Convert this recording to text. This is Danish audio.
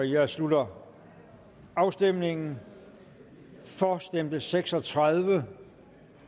jeg slutter afstemningen for stemte seks og tredive